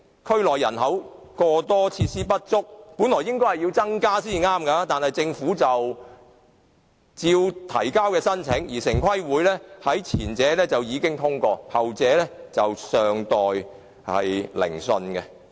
區內人口過多、設施不足，本來應該增加休憩用地，但政府仍然提交申請，而城市規劃委員會已經通過前者的申請，後者則尚待聆訊。